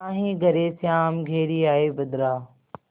नाहीं घरे श्याम घेरि आये बदरा